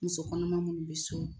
Musokɔnɔma minnu bɛ so,